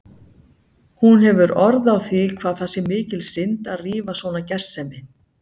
Hún hefur orð á því hvað það sé mikil synd að rífa svona gersemi.